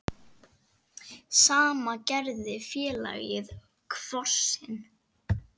Sama gerði félagið Kvosin.